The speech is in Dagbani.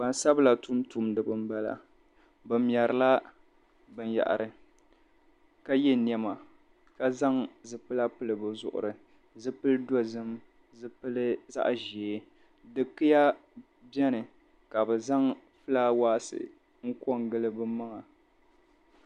Gbansabila tumtuuniba m-bala bɛ mɛrila binyɛhiri ka ye nɛma ka zaŋ zipila pili bɛ zuɣuri zipil'dozim zipil' zaɣ'ʒee dikiya beni ka bɛ zaŋ flaawɛɛsi n-ko n-gili bɛ maŋa.